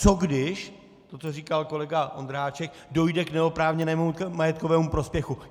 Co když, to, co říkal kolega Ondráček, dojde k neoprávněnému majetkovému prospěchu?